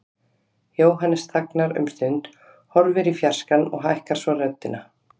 Jóhannes þagnar um stund, horfir í fjarskann og hækkar svo röddina.